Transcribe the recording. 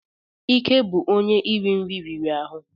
Ike bụ onye iri nri riri ahụ.